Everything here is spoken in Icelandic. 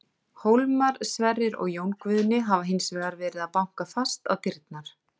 Hólmar, Sverrir og Jón Guðni hafa hins vegar verið að banka fast á dyrnar.